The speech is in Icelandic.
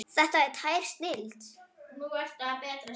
Þetta er tær snilld.